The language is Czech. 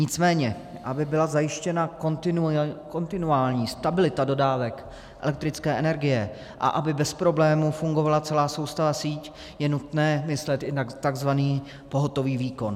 Nicméně aby byla zajištěna kontinuální stabilita dodávek elektrické energie a aby bez problému fungovala celá soustavná síť, je nutné myslet i na tzv. pohotový výkon.